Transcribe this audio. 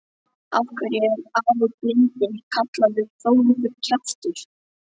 Af hverju er afi blindi kallaður Þórður kjaftur?